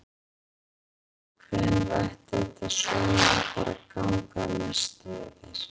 Lillý: Hvenær ætti þetta svona að fara að ganga að mestu yfir?